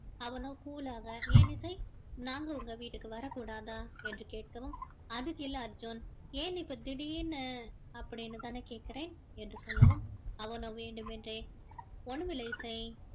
அவனோ cool லாக ஏன் இசை நாங்க உங்க வீடுக்கு வரக் கூடாதா என்று கேட்கவும் அதுக்கு இல்லை அர்ஜுன் என் இப்போ திடீர்னு அப்படின்னு தானே கேட்கிறேன் என்று சொல்லவும் அவனும் வேண்டும் என்றே ஒன்னும் இல்லை இசை